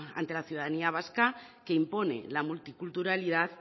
ante la ciudadanía vasca que impone la multiculturalidad